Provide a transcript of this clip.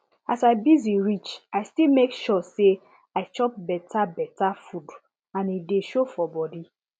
as i busy reach i still make sure say i chop better better food and e dey show for body